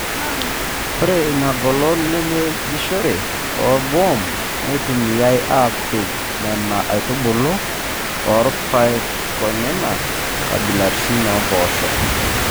Ore ina golon napejishore orboom neitumiyai aapej Nena aitubulu rpayekonena kabilaritin oo mpoosho te kJ.